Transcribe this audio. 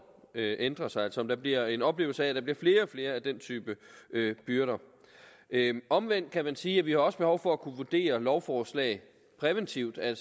ændrer sig altså om der bliver en oplevelse af at der bliver flere og flere af den type byrder omvendt kan man sige at vi også har behov for at kunne vurdere lovforslag præventivt at